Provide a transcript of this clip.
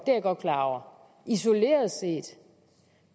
jeg godt klar over isoleret set